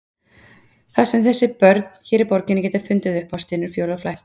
Það sem þessi börn hér í borginni geta fundið upp á, stynur Fjóla frænka.